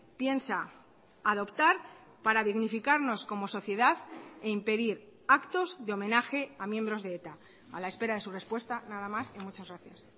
piensa adoptar para dignificarnos como sociedad e impedir actos de homenaje a miembros de eta a la espera de su respuesta nada más y muchas gracias